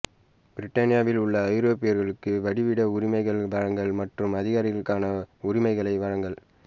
பிரித்தானியாவிலுள்ள ஐரோப்பியர்களுக்கு வதிவிட உரிமைகள் வழங்கல் மற்றும் அகதிகளுக்கான உரிமைகளை வழங்கல்